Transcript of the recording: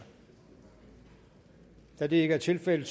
da det ikke er tilfældet